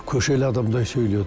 көшелі адамдай сөйледі